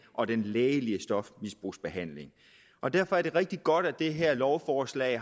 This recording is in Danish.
og den lægelige stofmisbrugsbehandling og derfor er det rigtig godt at det her lovforslag